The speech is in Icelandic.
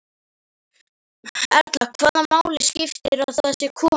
Erla: Hvaða máli skiptir að það sé kona?